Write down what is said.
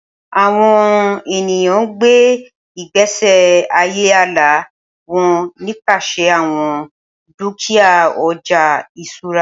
Awọn eniyan n gbe igbesi aye ala wọn nipasẹ awọn dukia ọja iṣura